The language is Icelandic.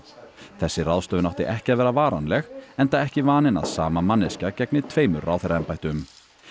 þessi ráðstöfun átti ekki að vera varanleg enda ekki vaninn að sama manneskja gegni tveimur ráðherraembættum